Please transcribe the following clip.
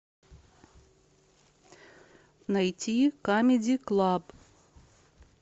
найти камеди клаб